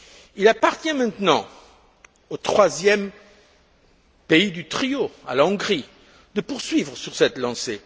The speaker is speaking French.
Il appartient maintenant au troisième pays du trio la Hongrie de poursuivre sur cette lancée.